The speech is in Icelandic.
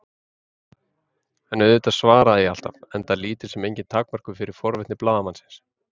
En auðvitað svaraði ég alltaf- enda lítil sem engin takmörk fyrir forvitni blaðamannsins.